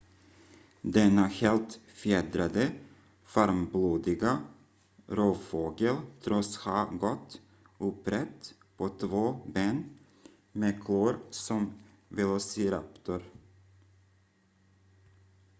denna helt fjädrade varmblodiga rovfågel tros ha gått upprätt på två ben med klor som velociraptorn